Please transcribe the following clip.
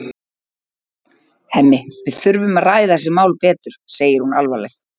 Hemmi, við þurfum að ræða þessi mál betur, segir hún alvarleg.